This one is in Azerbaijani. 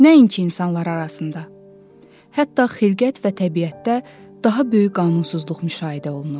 Nəinki insanlar arasında, hətta xilqət və təbiətdə daha böyük qanunsuzluq müşahidə olunur.